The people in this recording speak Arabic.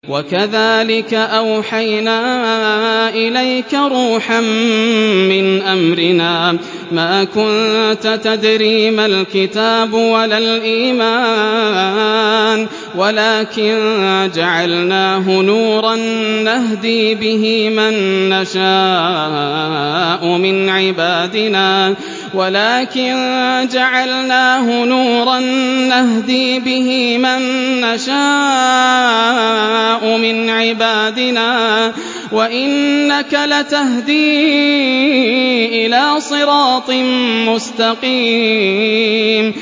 وَكَذَٰلِكَ أَوْحَيْنَا إِلَيْكَ رُوحًا مِّنْ أَمْرِنَا ۚ مَا كُنتَ تَدْرِي مَا الْكِتَابُ وَلَا الْإِيمَانُ وَلَٰكِن جَعَلْنَاهُ نُورًا نَّهْدِي بِهِ مَن نَّشَاءُ مِنْ عِبَادِنَا ۚ وَإِنَّكَ لَتَهْدِي إِلَىٰ صِرَاطٍ مُّسْتَقِيمٍ